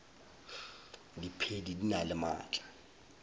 diphedi di na le maatla